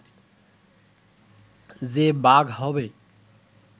যে ‘বাঘ’ হবে